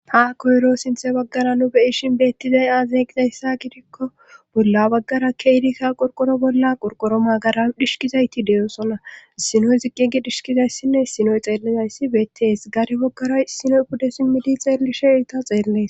ha koyro sinthe baggara nu beyishin beettizay aazegizayssa gidikko bolla baggara keidikka qorqoro bolla qorqoro magara dhishkizayti deyosona sinoy ziqqigi dhishkizayssinne sinoy xeellizayssi beettees gare wokkara sinoy pudde simmidi xeellishe irta xeellees